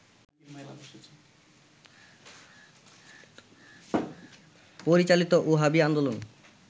পরিচালিত ওহাবী আন্দোলন